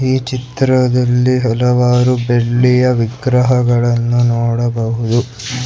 ಈ ಚಿತ್ರದಲ್ಲಿ ಹಲವಾರು ಬೆಳ್ಳಿಯ ವಿಗ್ರಹಗಳನ್ನು ನೋಡಬಹುದು.